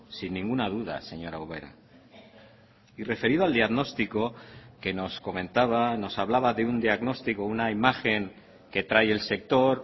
sin ninguna duda señora ubera y referido al diagnóstico que nos comentaba nos hablaba de un diagnostico una imagen que trae el sector